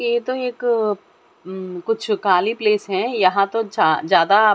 ये तो एक म कुछ काली प्लेस हैं यहां तो जा ज्यादा --